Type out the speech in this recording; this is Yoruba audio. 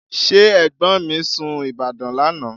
Ṣé ẹ̀gbọ́n mi sun Ìbàdàn lánàá?